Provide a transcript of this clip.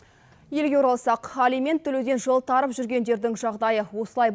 елге оралсақ алимент төлеуден жолтарып жүргендердің жағдайы осылай